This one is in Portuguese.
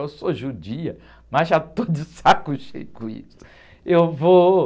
Eu sou judia, mas já estou de saco cheio com isso.